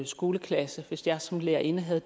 skoleklasse hvis jeg som lærerinde havde